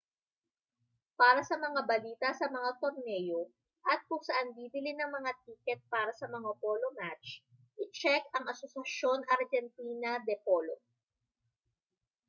para sa mga balita sa mga torneo at kung saan bibili ng mga tiket para sa mga polo match itsek ang asociacion argentina de polo